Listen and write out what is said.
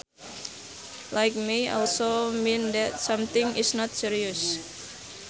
Light may also mean that something is not serious